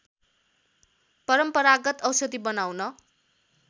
परम्परागत औषधि बनाउन